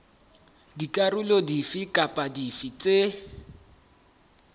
dikarolo dife kapa dife tse